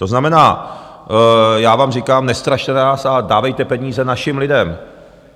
To znamená, já vám říkám, nestrašte nás a dávejte peníze našim lidem.